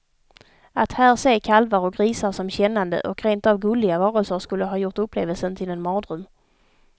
Att här se kalvar och grisar som kännande och rentav gulliga varelser skulle ha gjort upplevelsen till en mardröm.